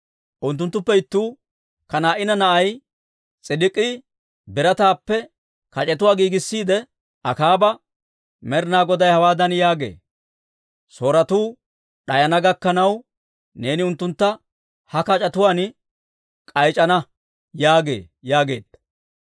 Unttunttuppe ittuu, Kanaa'ina na'ay S'idik'ii birataappe kac'etuwaa giigissiide, Akaaba, «Med'inaa Goday hawaadan yaagee; ‹Sooretuu d'ayana gakkanaw, neeni unttuntta ha kac'etuwaan k'ayc'c'ana› yaagee» yaageedda.